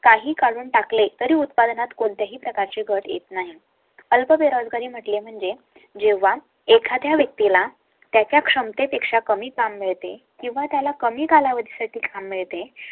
काही काढून टाकले तरी उत्पादनात कोणत्याही प्रकारची घट येत नाही अल्प बेरोजगारी म्हटले म्हणजे जेव्हा एखाद्या व्यक्ती ला त्याच्या क्षमतेपेक्षा कमी काम मिळते किंवा त्याला कमी कालावधी साठी काम मिळते